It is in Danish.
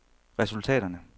resultaterne